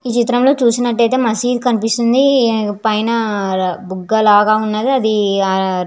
ఈ చిత్రంలో చేసినట్టయితే మసీద్ కనిపిస్తుంది పైన అర బుగ్గ లాగ ఉన్నది అది అ --